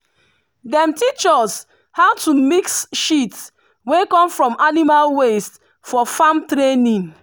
dem teach us how to mix shit wey come from animal waste for farm training.